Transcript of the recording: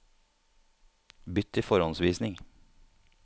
Bytt til forhåndsvisning